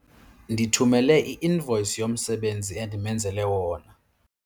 Ndithumele i-invoyisi yomsebenzi endimenzele wona.